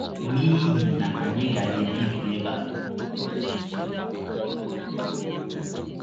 N’ihi na anyị ga - ebibi ebe a. ”